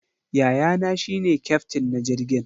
Yayana shi ne kyaftin na jirgin.